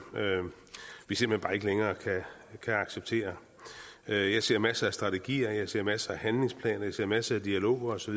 vi simpelt hen bare ikke længere kan acceptere jeg ser masser af strategier jeg ser masser af handlingsplaner jeg ser masser af dialog osv